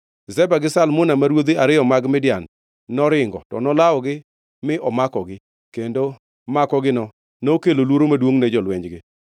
Zeba gi Zalmuna, ma ruodhi ariyo mag Midian, noringo, to nolawogi mi omakogi, kendo makogino nokelo luoro maduongʼ ne jolwenjgi.